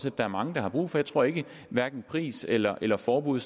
at der er mange der har brug for jeg tror at hverken pris eller eller forbud